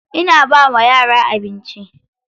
Ina ba wa yara abinci.